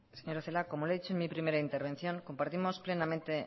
señora celaá como le he dicho en mi primera intervención compartimos plenamente